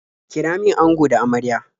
Kira min ango da amarya.